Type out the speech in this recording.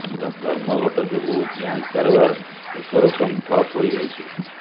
ଧର୍ମଘଟ ଯୋଗୁଁ ବ୍ୟାଙ୍କ କାରବାର ଏକ ରକମ ଠପ୍ ହୋଇଯାଇଛି